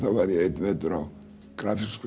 einn vetur á grafíska